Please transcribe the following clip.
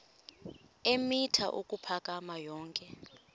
eemitha ukuphakama yonke